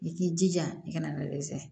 I k'i jija i kana dɛsɛ